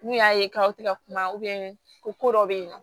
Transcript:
N'u y'a ye k'aw tɛ ka kuma ko dɔ bɛ yen nɔ